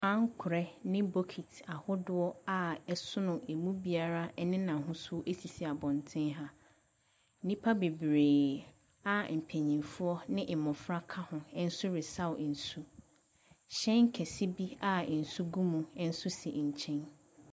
Ankorɛ ne bokiti ahodoɔ a ɛsono ɛmu biara ne n'ahosuo sisi abɔnten ha. Nnipa bebree a mpanimfoɔ ne mmɔfra ka ho nso resaw nsu. Hyɛn kɛse bi a nsu gum nso gu nkyɛn.